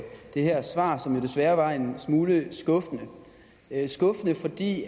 det her svar som desværre var en smule skuffende skuffende fordi